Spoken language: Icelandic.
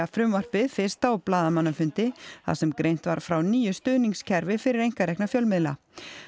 frumvarpið fyrst á blaðamannafundi þar sem greint var frá nýju stuðningskerfi fyrir einkarekna fjölmiðla